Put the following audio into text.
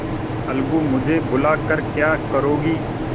अलगूमुझे बुला कर क्या करोगी